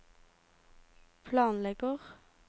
planlegger